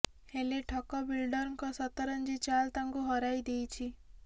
ହେଲେ ଠକ ବିଲଡରଙ୍କ ସତରଂଜୀ ଚାଲ୍ ତାଙ୍କୁ ହରାଇ ଦେଇଛି